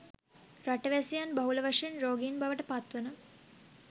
රටවැසියන් බහුල වශයෙන් රෝගීන් බවට පත්වන